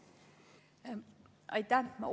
Aitäh!